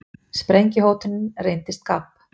Sprengjuhótunin reyndist gabb